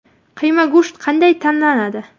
Qiyma go‘sht qanday tanlanadi?